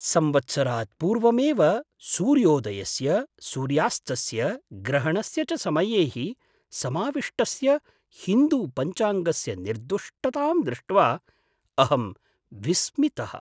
संवत्सरात् पूर्वमेव सूर्योदयस्य, सूर्यास्तस्य, ग्रहणस्य च समयैः समाविष्टस्य हिन्दुपञ्चाङ्गस्य निर्दुष्टतां दृष्ट्वा अहं विस्मितः।